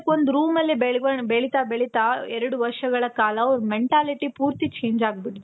like ಒಂದು room ಅಲ್ಲೇ ಬೆಳವಣಿಗೆ, ಬೆಳಿತಾ ಬೆಳಿತಾ ಎರಡು ವರ್ಷಗಳ ಕಾಲ ಅವರ mentality ಪೂರ್ತಿ change ಆಗ್ಬಿಟ್ಟಿದೆ.